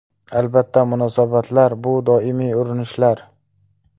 Albatta, munosabatlar bu doimiy urinishlar.